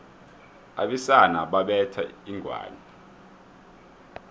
abesana babetha inghwani